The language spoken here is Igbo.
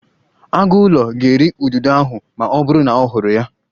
Agụụlọ ga-eri ududo ahụ ma ọ bụrụ na ọ hụrụ ya